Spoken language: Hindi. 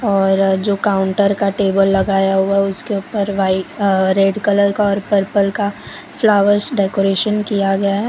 और जो काउंटर का टेबल लगाया हुआ है उसके ऊपर व्हाइ अ रेड कलर का और पर्पल का फ्लावर्स डेकोरेशन किया गया है।